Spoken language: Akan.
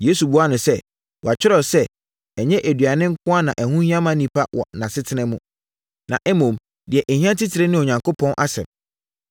Yesu buaa no sɛ, “Wɔatwerɛ sɛ, ‘Ɛnyɛ aduane nko ara na ɛho hia onipa wɔ nʼasetena mu, na mmom, deɛ ɛhia titire ne Onyankopɔn asɛm.’ ”